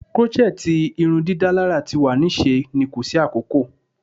Crochet irundidalara ti wa ni ṣe ni ko si akoko